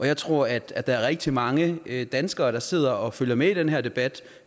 jeg tror at der er rigtig mange danskere der sidder og følger med i den her debat